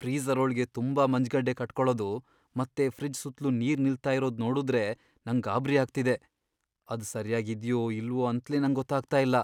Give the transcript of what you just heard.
Freezer ಒಳ್ಗೆ ತುಂಬಾ ಮಂಜ್ಗಡ್ಡೆ ಕಟ್ಕೊಳದು ಮತ್ತೆ ಫ್ರಿಡ್ಜ್ ಸುತ್ಲು ನೀರ್ ನಿಲ್ತಾ ಇರೋದ್ ನೋಡುದ್ರೆ ನಂಗ್ ಗಾಬ್ರಿ ಆಗ್ತಿದೆ, ಅದ್ ಸರ್ಯಾಗ್ ಇದ್ಯೋ ಇಲ್ವೋ ಅಂತ್ಲೇ ನಂಗ್ ಗೊತ್ತಾಗ್ತಾ ಇಲ್ಲ.